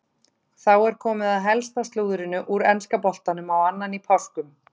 Þá er komið að helsta slúðrinu úr enska boltanum á annan í páskum.